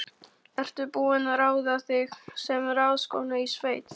Ertu búin að ráða þig sem ráðskonu í sveit?